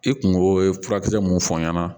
I kungo ye furakisɛ mun fɔ n ɲɛna